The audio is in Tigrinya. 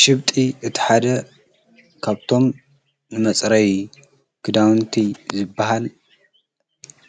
ሽብጢ እቲ ሓደ ካብቶም መፅረይ ክዳውንቲ ዝበሃል